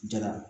Jara